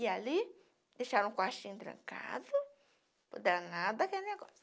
E ali, deixaram o quartinho trancado, o danado aquele negócio.